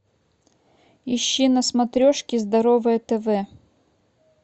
ищи на смотрешке здоровое тв